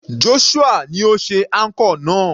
Joshua ni ó ṣe anchor náà.